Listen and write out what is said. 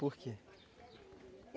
Por quê?